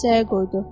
Kisəyə qoydu.